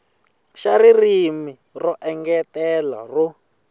xa ririmi ro engetela ro